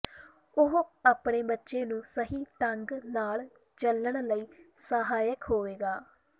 ਉਹ ਆਪਣੇ ਬੱਚੇ ਨੂੰ ਸਹੀ ਢੰਗ ਨਾਲ ਚੱਲਣ ਲਈ ਸਹਾਇਕ ਹੋਵੇਗਾ